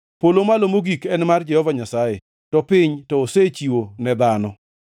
Polo malo mogik en mar Jehova Nyasaye, to piny to osechiwo ne dhano.